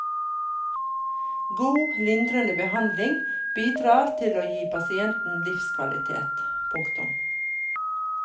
God lindrende behandling bidrar til å gi pasienten livskvalitet. punktum